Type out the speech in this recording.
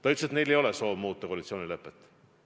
Ta ütles, et neil ei ole soovi muuta koalitsioonilepet.